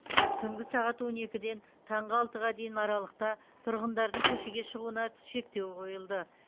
түнгі сағат он екіден таңғы алтыға дейін аралықта тұрғындардың көшеге шығуына шектеу қойылды